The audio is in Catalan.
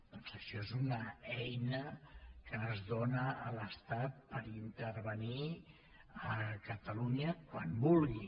doncs això és una eina que es dóna a l’estat per intervenir a catalunya quan vulgui